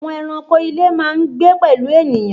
Àwọn eranko ilé máa n gbé pẹ̀lú ènìyàn